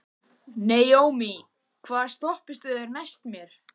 Naómí, hvaða stoppistöð er næst mér?